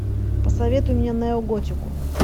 посоветуй мне неоготику